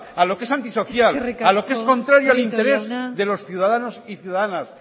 a lo que es antisocial a lo que es contrario al interés de los ciudadanos eskerrik asko prieto jauna y ciudadanas